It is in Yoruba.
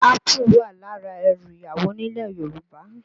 Ápù wà lára ẹrù ìyàwó nílẹ̀ Yorùbá